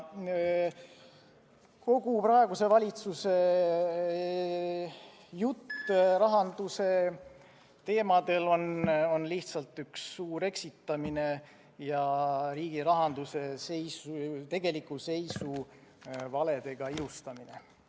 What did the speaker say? Kogu praeguse valitsuse jutt rahanduse teemadel on lihtsalt üks suur eksitamine ja riigi rahanduse tegeliku seisu valedega ilustamine.